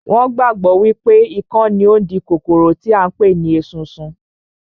Wọn gbàgbọ́ wípé ikán ni ó ń di kòkòrò tí à ń pè ní esunsun